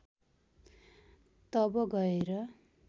तब गएर